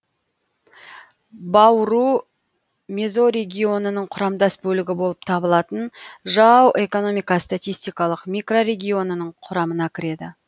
бауру мезорегионының құрамдас бөлігі болып табылатын жау экономика статистикалық микрорегионының құрамына кіреді